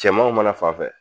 Cɛmanw mana fanfɛ